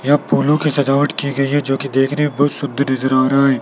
यहां फूलों की सजावट की गई है जोकि देखने में बहुत सुंदर नजर आ रहा है।